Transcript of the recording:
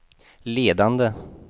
ledande